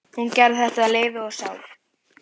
Hún gerði þetta af lífi og sál.